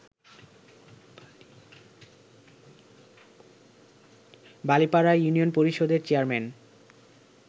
Balipara union পরিষদের chairman